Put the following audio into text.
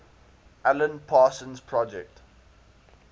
alan parsons project